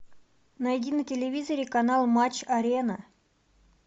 найди на телевизоре канал матч арена